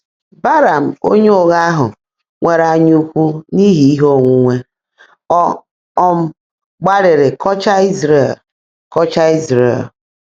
Belam onye ụgha ahụ nwere anyaukwu n'ihi ihe onwunwe, ọ um gbalịrị kọchaa Izrel kọchaa Izrel.